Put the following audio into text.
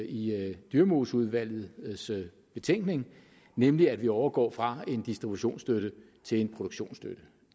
i dyremoseudvalgets betænkning nemlig at vi overgår fra en distributionsstøtte til en produktionsstøtte